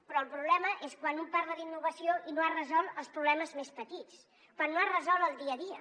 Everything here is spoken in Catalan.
però el problema és quan un parla d’innovació i no ha resolt els problemes més petits quan no ha resolt el dia a dia